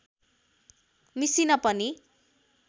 machine पनि